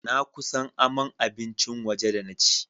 Na kusan aman abincin waje da na ci.